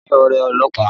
Mo ní ọ̀rẹ́ ọlọ́pàá